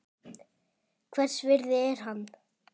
Hvers virði er hann?